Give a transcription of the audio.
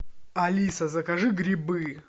алиса закажи грибы